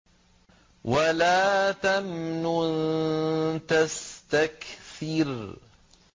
وَلَا تَمْنُن تَسْتَكْثِرُ